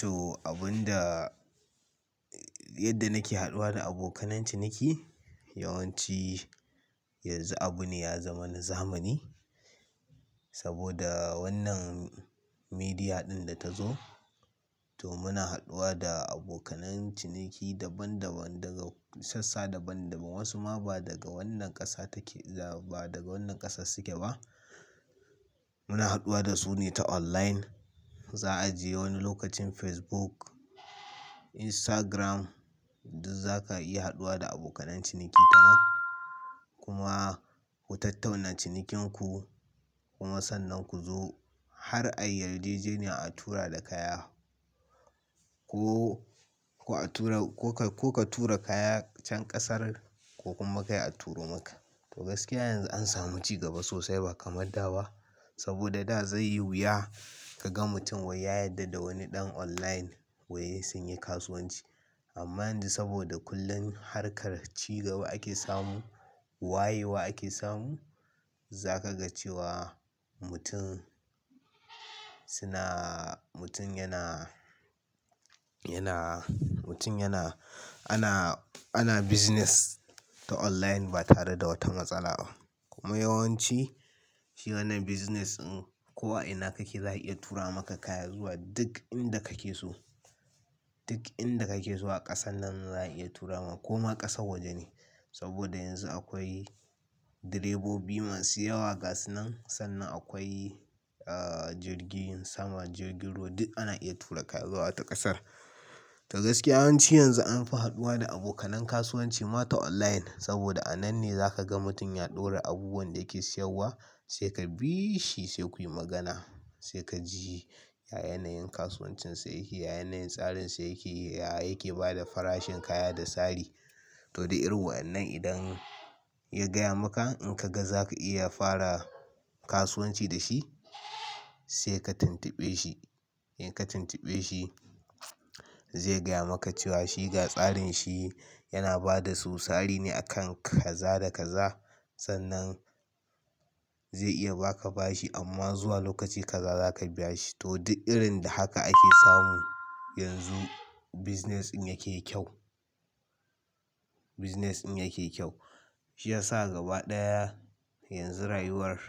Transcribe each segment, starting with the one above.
To abun da, yadda nake haduwa da abokanan ciniki yawanci, yanzu abu ne ya zama na zamani saboda wannan media ɗin da ta zo. To muna haduwa da abokanan ciniki daban daban, daga sassa daban daban. Wasu ma ba daga wannan ƙasa take, ba daga wannan ƙasar suke ba. Muna haduwa da su ne ta online. Za a je wani lokacin Facebook, Instagram, duk za ka iya haduwa da abokanan ciniki ta nan. Kuma ku tattauna cinikin ku, kuma sannan ku zo har a yi yarjejiniya a tura da kaya ko, ko a tura, ko ka tura kaya can ƙasar ko kuma kai a turo maka. To gaskiya yanzu an samu ci gaba sosai ba kamar da ba. Saboda da zai yi wuya ka ga mutum wai ya yarda da wani ɗan online wai sun yi kasuwanci. Amma yanzu saboda kullum harkar ci gaba ake samu, wayewa ake samu. Za ka ga cewa mutum suna, mutum yana, yana, mutum yana, ana, ana business ta online ba tare da wata matsala ba. Kuma yawanci shi wannan business in ko a ina kake za a iya tura maka kaya zuwa duk inda kake so. Duk inda kake so a ƙasan nan za a iya tura maka ko ma ƙasar waje ne. Saboda yanzu akwai direbobi masu yawa gas nan, sannan akwai, ah, jirgin sama, jirgin ruwa, duk ana iya tura kaya zuwa wata ƙasar. To gaskiya yawanci yanzu anfi haduwa da abokan kasuwanci ma ta online saboda a nan ne za ka ga mutum ya ɗora abubuwan da yake siyarwa sai ka bi shi sai kuyi magana. Sai ka ji ya yyanayin kasuwancinsa yake, ya yyanayin tsarin sa yake, yaya yake bada farashin kaya da tsari. To duk irin wa'annan idan ya gaya maka in ka ga za ka iya fara kasuwanci da shi, sai ka tuntuɓe shi. In ka tuntuɓe shi zai gaya maka cewa shiga tsarin shi yana bada su sari ne a kan kaza da kaza. Sannan zai iya ba ka bashi amma zuwa lokaci kaza za ka biya shi. To duk irin da haka ake samu. Yanzu business in yake kyau, business in yake kyau. Shi ya sa gaba ɗaya yanzu rayuwar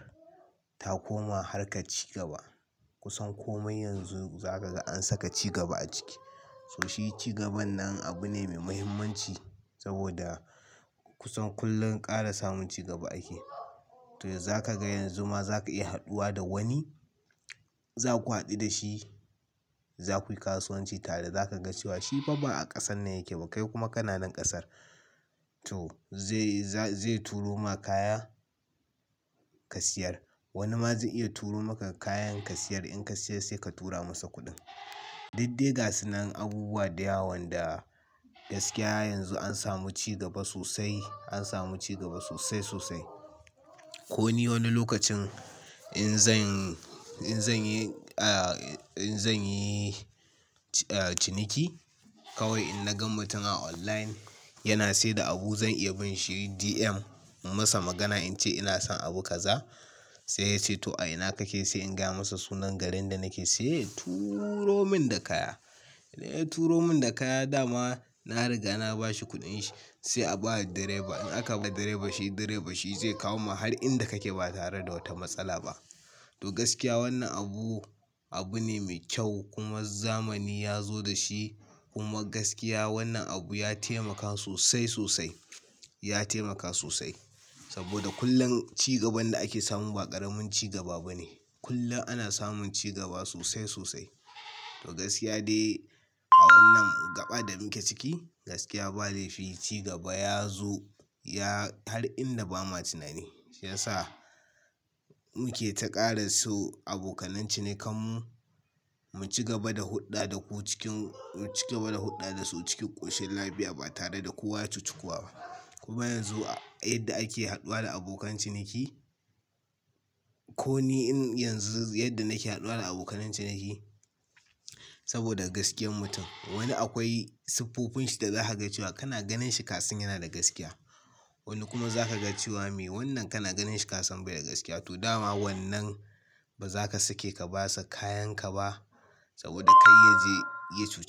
ta koma harkar ci gaba. Kusan kome yanzu za ka ga an saka ci gaba a ciki. To shi ci gaban nan abu ne mai muhimmanci saboda kusan kullum ƙara samun cigaba ake. To za ka ga yanzu ma za ka iya haɗuwa da wani, za ku haɗu da shi, za kuyi kasuwanci tare za ka ga cewa shi fa ba a ƙasan ne yake ba kai kuma kana nan ƙasar. To zai turo ma kaya ka siyar. Wani ma zai iya turo maka kayan ka siyar. In ka siyar sai ka tura masa kuɗin. Du ddai gasinan abubuwa da yawan da gaskiya yanzu an samu ci gaba sosai, an samu ci gaba sosai sosai. Ko ni wani lokacin in zan yi ciniki kawai in na ga mutum a online yana siyar da abu zan iya bin shi DM in masa magana in ce ina son abu kaza. Sai ya ce to a ina kake sai in gaya masa sunan garin da nake. Sai ya turo min da kaya. Idan ya turo min da kaya dama na riga na bashi kuɗin shi. Sai a ba wa direba. In aka ba direban shi direba shi zai kawo ma har inda kake ba tare da wata matsala ba. To gaskiya wannan abu, abu ne mai kyau kuma zamani ya zo da shi. Kuma gaskiya wannan abu ya taimaka sosai sosai. Ya taimaka sosai saboda kullum cigaban da ake samun ba ƙaramin cigaba bane. Kullum ana samun cigaba sosai sosai. To gaskiya dai a wannan gaba da muke ciki, gaskiya ba dai fici gaba ya zo ya, har inda ba ma tunani. Shi ya sa muke ta ƙara so abokanance ne kanmu mu ci gaba da huɗɗa da ku cikin, mu ci gaba da huɗɗa da su cikin ƙoshin lafiya ba tare da kowa ya cuci kuwa ba. Kuma yanzu a inda ake haduwa da abokan ciniki. Ko ni in yanzu yadda nake haduwa da abokanan ciniki saboda gaskiyar mutum. Wani akwai siffofin shi da za ka ga cewa kana ganin shi kasan yana da gaskiya. Wani kuma za ka ga cewa me wannan kana ganin shi kasam bai da gaskiya. To dama wannan ba za ka sake ka ba sa kayan ka ba saboda kai ya je, ya ci.